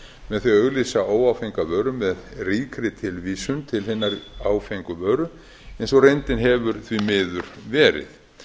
með því að auglýsa óáfenga vöru með ríkri tilvísun til hinnar áfengu vöru eins og reyndin hefur því miður verið